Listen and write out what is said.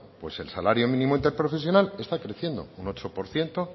pues el salario mínimo interprofesional está creciendo un ocho por ciento